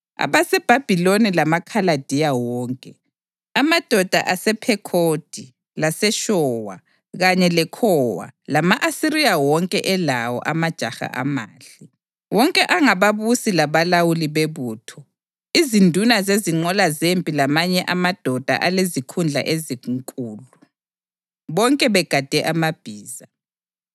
abaseBhabhiloni lamaKhaladiya wonke, amadoda asePhekhodi laseShowa kanye leKhowa, lama-Asiriya wonke elawo, amajaha amahle, wonke angababusi labalawuli bebutho, izinduna zezinqola zempi lamanye amadoda alezikhundla ezinkulu, bonke begade amabhiza.